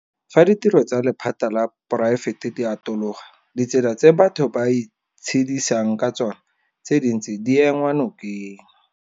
Fa ditiro tsa lephata la poraefete di atologa, ditsela tse batho ba itshedisang ka tsona tse dintsi di enngwa nokeng.